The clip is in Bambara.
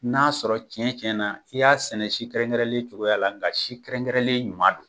N'a sɔrɔ cɛn cɛn na i y'a sɛnɛ si kɛrɛn kɛrɛnnen cogoya la nka si kɛrɛn kɛrɛnlen ɲuman do.